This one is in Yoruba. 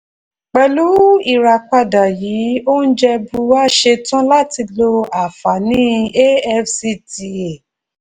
pẹ̀lú ìràpadà yìí oúnjẹ bua ṣetán láti lo àfààní afcta.